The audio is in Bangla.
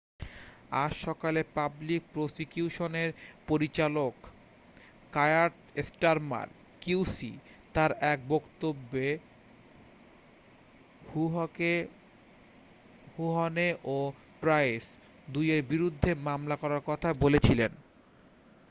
আজ সকালে পাবলিক প্রসিকিউশনের পরিচালক কায়ার স্টারমার qc তার এক বক্তব্যে হুহনে ও প্রাইস দুইয়ের বিরুদ্ধে মামলা করার কথা বলেছিলেন